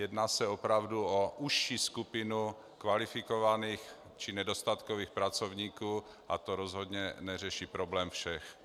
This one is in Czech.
Jedná se opravdu o užší skupinu kvalifikovaných či nedostatkových pracovníků a to rozhodně neřeší problém všech.